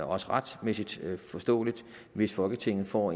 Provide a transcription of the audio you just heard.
også retmæssigt forståeligt hvis folketinget får